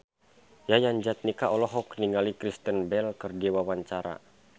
Yayan Jatnika olohok ningali Kristen Bell keur diwawancara